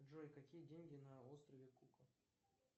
джой какие деньги на острове кука